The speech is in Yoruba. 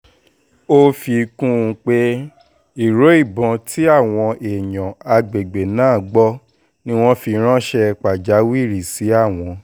o fi kun pe iro ibọn ti awọn eyan agbegbe naa gbọ ni wọn fi ranṣẹ pajawiri si awọn